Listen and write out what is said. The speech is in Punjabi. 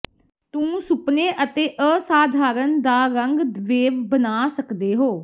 ਤੂੰ ਸੁਪਨੇ ਅਤੇ ਅਸਾਧਾਰਨ ਦਾ ਰੰਗ ਵੇਵ ਬਣਾ ਸਕਦੇ ਹੋ